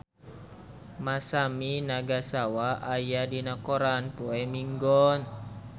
Masami Nagasawa aya dina koran poe Minggon